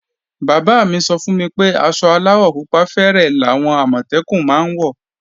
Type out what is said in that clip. Bàbá mí sọ fún mi pé aṣọ aláwọ̀ pupa fẹ́rẹ́ làwọn Àmọ̀tẹ́kùn máa ń wọ̀